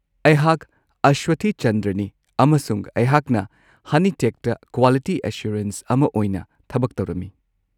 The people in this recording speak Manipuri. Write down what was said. ꯑꯩꯍꯥꯛ ꯑꯁꯋꯊꯤ ꯆꯟꯗ꯭ꯔꯅꯤ ꯑꯃꯁꯨꯡ ꯑꯩꯍꯥꯛꯅ ꯍꯅꯤꯇꯦꯛꯇ ꯀ꯭ꯋꯥꯂꯤꯇꯤ ꯑꯦꯁꯨꯔꯦꯟꯁ ꯑꯃ ꯑꯣꯏꯅ ꯊꯕꯛ ꯇꯧꯔꯝꯃꯤ꯫